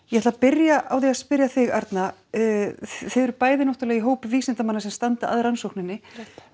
ég ætla að byrja á því að spyrja þig Arna þið eruð bæði náttúrulega í hópi vísindamanna sem standa að rannsókninni